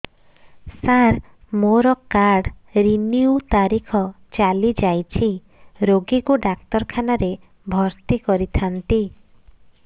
ସାର ମୋର card renew ତାରିଖ ଚାଲି ଯାଇଛି ରୋଗୀକୁ ଡାକ୍ତରଖାନା ରେ ଭର୍ତି କରିଥାନ୍ତି